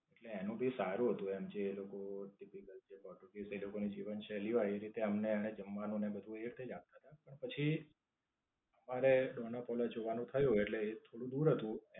એટલે એનું ભી સારું હતું એમ. જે લોકો technical છે. પોતપોતાની જીવનક્ષેલી હોય એ રીતે અમને એને જમવાનું ને એ બધું એ રીતે જ આપતા હતા. પણ, પછી મારે ડોનાંપોલા જવાનું થયું એટલે એ થોડું દૂર હતું